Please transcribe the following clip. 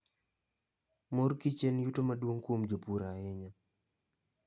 Mor kich en yuto maduong kuom jopur ahinya.